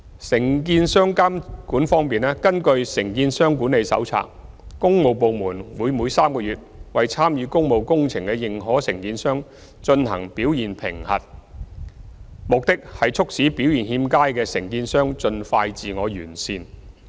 承建商監管方面，根據《承建商管理手冊》，工務部門會每3個月為參與工務工程的認可承建商進行表現評核，旨在促使表現欠佳的承建商盡快自我完善。